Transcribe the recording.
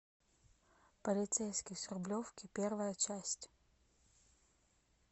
полицейский с рублевки первая часть